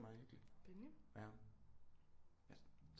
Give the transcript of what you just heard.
Meget hyggeligt ja